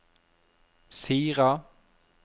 Sira